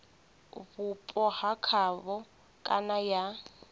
vhupo ha havho kana ya